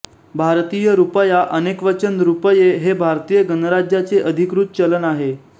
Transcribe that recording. भारतीय रुपया अनेकवचन रुपये हे भारतीय गणराज्याचे अधिकृत चलन आहे